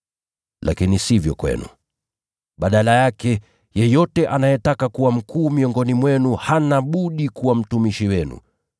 Lakini isiwe hivyo kwenu. Badala yake, yeyote anayetaka kuwa mkuu miongoni mwenu hana budi kuwa mtumishi wenu,